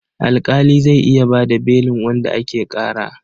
Alƙali zai iya ba da belin wanda ake ƙara.